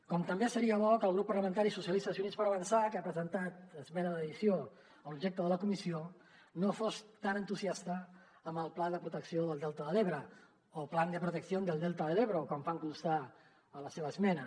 com també seria bo que el grup parlamentari socialista i units per avançar que ha presentat esmena d’addició a l’objecte de la comissió no fos tan entusiasta amb el pla de protecció del delta de l’ebre o plan de protección del delta del ebro com fan constar en la seva esmena